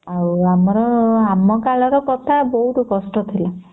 ଆଉ ଆମର ଆମ କାଳ ର କଥା ବହୁତ କଷ୍ଟ ଥିଲା